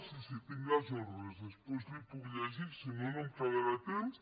sí sí tinc les ordres després li ho puc llegir que si no no em quedarà temps